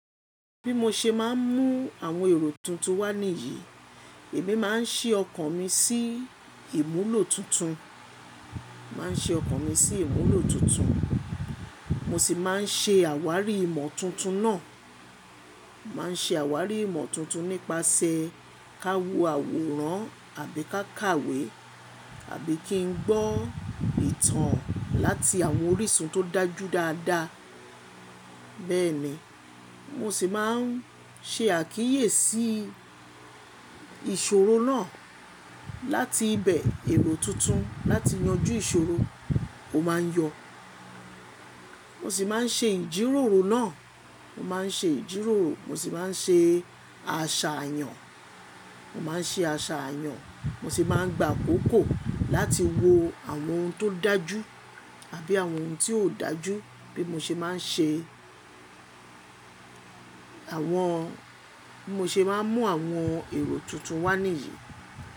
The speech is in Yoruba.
Bí mo ṣe máa ń mú àwọn èrò tuntun wà níyì, èmi máa ń ṣí ọkàn mi sí ìmúlò tuntun, máa ń ṣi ọkàn mi sí ìmúlò tuntun. Mo sì máa ń ṣe àwárí ìmọ̀ tuntun náà. Màá ń ṣe àwárí ìmọ̀ tuntun nípasẹ̀ ká wo àwòrán àbí ká kàwé, àbí kí n gbọ́ ìtàn láti àwọn orísun tó dájú dáadáa. Bẹ́ẹ̀ ni mo sì máa ń ṣe àkíyèsí ìṣòro náà láti ibẹ̀ èrò tuntun láti yanjú ìṣòro ó máa ń yọ. Mo sì máa ń ṣe ìjíròrò náà. Mo máa ń ṣe ìjíròrò. Mo sì máa ń ṣe àṣàyàn. Mo máa ń ṣe àṣàyàn. Mo sì máa ń gbà àkókò láti wo àwọn ohun tó dájú àbí àwọn ohun tí ò dájú bí mo ṣe máa ń ṣe àwọn, bí mo ṣe máa ń mú àwọn èrò tuntun wà níyì.